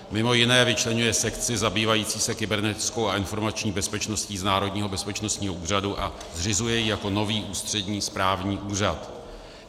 Mimo jiné vyčleňuje sekci zabývající se kybernetickou a informační bezpečností z Národního bezpečnostního úřadu a zřizuje ji jako nový ústřední správní úřad.